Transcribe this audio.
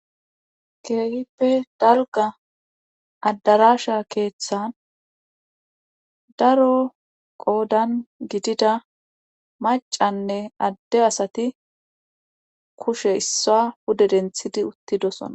keehippe dalga addarasha keeththan daro qoodan gidida macanne adde asati kushe issa pude denthidi uttidosona